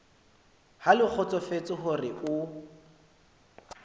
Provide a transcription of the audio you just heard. ha le kgotsofetse hore o